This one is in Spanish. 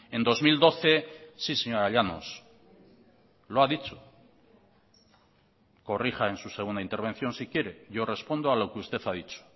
en dos mil doce sí señora llanos lo ha dicho corrija en su segunda intervención si quiere yo respondo a lo que usted ha dicho